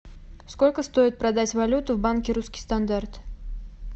сколько стоит продать валюту в банке русский стандарт